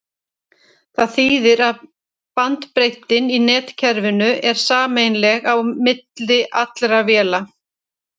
það þýðir að bandbreiddin í netkerfinu er sameiginleg á milli allra véla